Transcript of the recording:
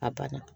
A banna